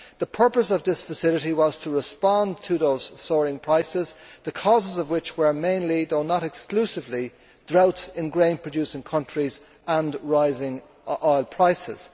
The purpose of this facility was to respond to those soaring prices, the causes of which were mainly, though not exclusively, droughts in grain producing countries and rising oil prices.